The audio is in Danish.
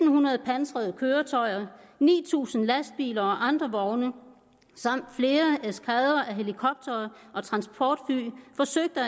hundrede pansrede køretøjer ni tusind lastbiler og andre vogne samt flere eskadrer af helikoptere og transportfly forsøgte at